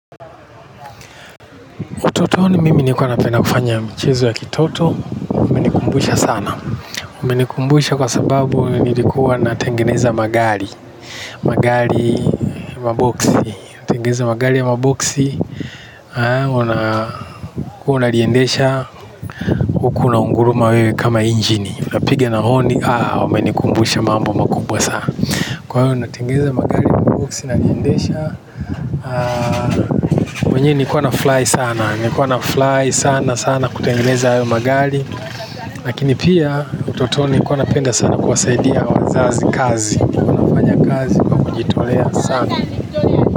Utotoni mimi nilikuwa napenda kufanya michezo ya kitoto, umenikumbusha sana. Umenikumbusha kwa sababu nilikuwa natengeneza magari. Magari maboksi. Tengeneza magari ya maboksi, unaliendesha huku unaunguruma wewe kama injini. Unapiga na honi, ah, umenikumbusha mambo makubwa sana. Kwa hiyo, unatengeneza magari ya maboksi na niliendesha. Mwenyewe nilikuwa nafurahi sana, nilikuwa nafurahi sana sana kutengeneza hayo magari. Lakini pia utotoni kwa nilikuwa napenda sana kuwasaidia wazazi kazi kwa kujitolea sana.